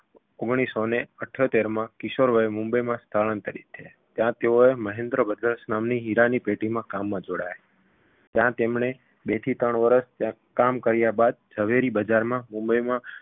ઓગણીસસોને અઠ્યોતેરમાં કિશોરવયે મુંબઈમાં સ્થળાંતરીત થયા ત્યાં તેઓએ મહેન્દ્ર brothers નામની હીરાની પેઢીમાં કામમાં જોડાયા. ત્યાં તેમણે બે થી ત્રણ વર્ષ ત્યાંં કામ કર્યા બાદ ઝવેરી બજારમાં મુબંઈમાં